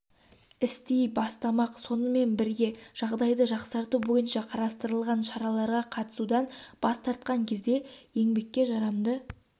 істей бастамақ сонымен бірге жағдайды жақсарту бойынша қарастырылған шараларға қатысудан бас тартқан кезде еңбекке жарамды